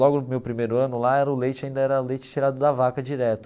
Logo no meu primeiro ano lá, era o leite ainda era leite tirado da vaca direto.